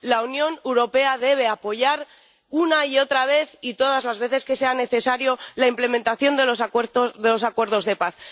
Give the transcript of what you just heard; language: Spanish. La Unión Europea debe apoyar una y otra vez, y todas las veces que sea necesario, la implementación de los acuerdos de paz.